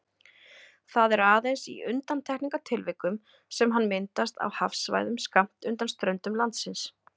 Það er aðeins í undantekningartilvikum sem hann myndast á hafsvæðum skammt undan ströndum landsins.